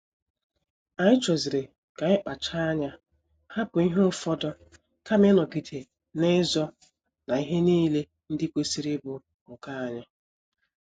Anyi choziri ka anyị kpacha anya hapụ ihe ụfọdụ kama ịnọgide n'izo na ihe niile ndị kwesịrị ịbụ nke anyị